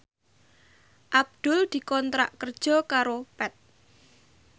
Abdul dikontrak kerja karo Path